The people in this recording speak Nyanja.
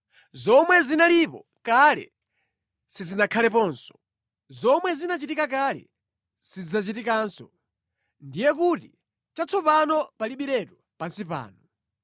Zomwe zinalipo kale zidzakhalaponso, zomwe zinachitika kale zidzachitikanso. Ndiye kuti chatsopano palibiretu pansi pano.